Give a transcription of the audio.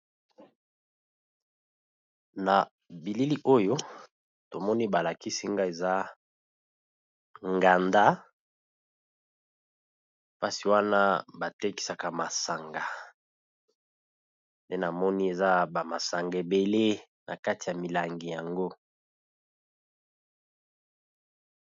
Na bilili oyo, to moni ba lakisi nga eza nganda. Place wana ba tekisaka masanga pe na moni eza ba masanga ebele na kati ya milangi yango .